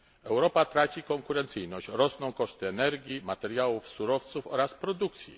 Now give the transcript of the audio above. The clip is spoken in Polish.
Europa traci konkurencyjność. Rosną koszty energii, materiałów, surowców oraz produkcji.